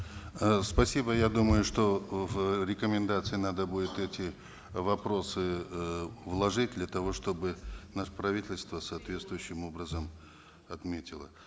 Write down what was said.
э спасибо я думаю что э в рекомендации надо будет эти вопросы эээ вложить для того чтобы наше правительство соответствующим образом отметило